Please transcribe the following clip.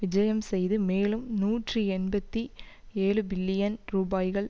விஜயம் செய்து மேலும் நூற்றி எண்பத்தி ஏழுபில்லியன் ரூபாய்கள்